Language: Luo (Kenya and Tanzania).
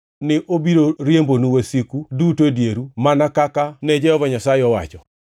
ni obiro riembonu wasiku duto e dieru mana kaka ne Jehova Nyasaye owacho.